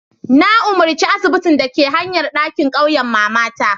Nayi umarci asibitin ɗakin hayan dake ƙauyan mamata.